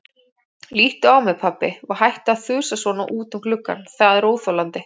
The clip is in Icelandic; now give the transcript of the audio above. Líttu á mig, pabbi, og hættu að þusa svona út um gluggann, það er óþolandi.